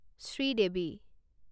Sridevi